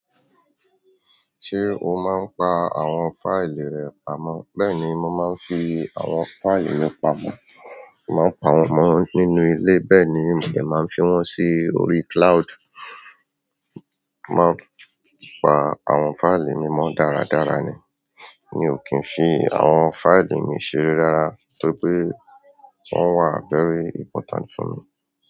Ṣé o máa ń pa àwọn fáìlì rẹ pamọ́? Bẹ́ẹ̀ni, mo máa ń fi àwọn fáìlì mi pamọ́. Mo máa ń pa wọ́n mọ́ nínú ilé, bẹ́ẹ̀ ni mò dè máa n fi wọ́n sí orí cloud. Mo máa ń pa àwọn fáìlì mi mọ́ dáradára ni. Mi ò kí ń fi àwọn fáìlì mi ṣeré rárá, tó ti pé wọ́n wà feri important fún mi.